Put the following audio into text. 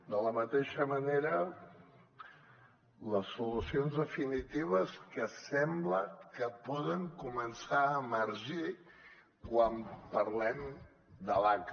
de la mateixa manera les solucions definitives que sembla que poden començar a emergir quan parlem de l’aca